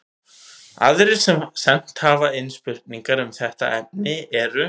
Aðrir sem sent hafa inn spurningar um þetta efni eru: